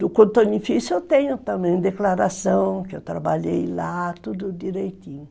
Do cotonifício eu tenho também declaração, que eu trabalhei lá, tudo direitinho.